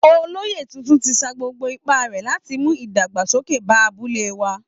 Olóyè tuntun ti sa gbogbo ipá rẹ̀ láti mú ìdàgbàsókè bá abúlé wa